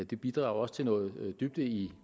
det bidrager også til noget dybde i